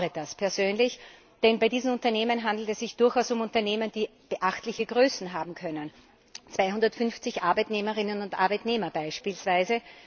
Ich bedaure das persönlich, denn bei diesen Unternehmen handelt es sich durchaus um Unternehmen, die beachtliche Größe haben können 250 Arbeitnehmerinnen und Arbeitnehmer beispielsweise.